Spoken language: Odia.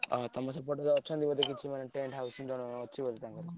ଅହ! ତମ ସେପଟରେ ଅଛନ୍ତି ବୋଧେ କିଛି ମାନେ tent house ଜଣ ଅଛି ମାନେ ତାଙ୍କର।